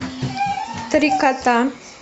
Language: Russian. три кота